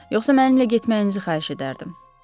Yoxsa mənimlə getməyinizi xahiş edərdim.